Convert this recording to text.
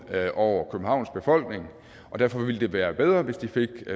over københavns befolkning og derfor ville det være bedre hvis de fik